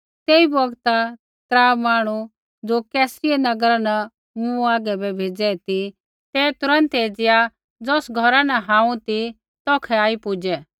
तेई बौगता त्रा मांहणु ज़ो कैसरिया नगरा न मूँ हागै बै भेज़ै ती ते तुरन्त एज़िया ज़ौस घौरा न हांऊँ ती तौखै आई पुज़ै